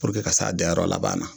Puruke ka se a dayɔrɔ laban na